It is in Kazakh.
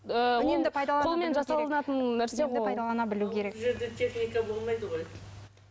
ыыы ауылдық жерлерде техника болмайды ғой